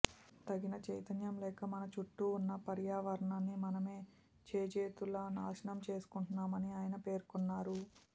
తగిన చైతన్యం లేక మన చుట్టూ ఉన్న పర్యావరణాన్ని మనమే చేజేతులా నాశనం చేసుకుంటున్నామని ఆయన పేర్కూన్నారు